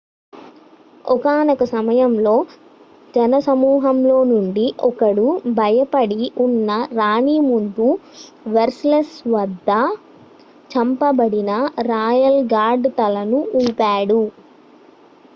ఒకానొక సమయంలో జనసమూహంలోనుండి ఒకడు భయపడి ఉన్న రాణి ముందు వెర్సైల్లెస్ వద్ద చంపబడిన రాయల్ గార్డ్ తలను ఊపాడు